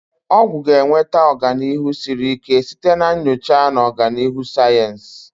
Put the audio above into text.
Ọgwụ ga-enweta ọganihu siri ike site na nyocha na ọganihu sayensị.